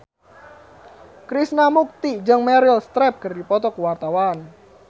Krishna Mukti jeung Meryl Streep keur dipoto ku wartawan